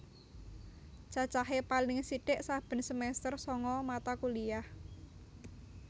Cacahe paling sithik saben semester sanga mata kuliah